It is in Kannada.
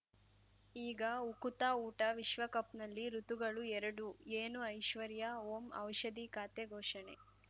ಈಗ ಉಕುತ ಊಟ ವಿಶ್ವಕಪ್‌ನಲ್ಲಿ ಋತುಗಳು ಎರಡು ಏನು ಐಶ್ವರ್ಯಾ ಓಂ ಔಷಧಿ ಖಾತೆ ಘೋಷಣೆ